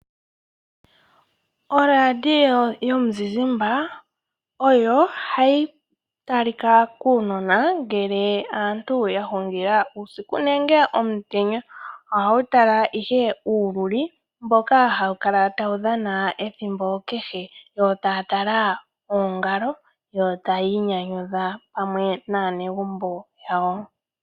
Oradio yomuzizmba oyo hayi talika kuunona ngele aantu ya hungila uusiku nenge omutenya. Ohawu tala ihe uululi mboka hawu kala tawu dhana ethimbo kehe. Yo taya tala oongalo. Yo taya inyanyudha pamwe naanegumbo lyawo.